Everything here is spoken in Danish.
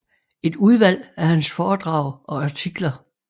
Et udvalg af hans foredrag og artikler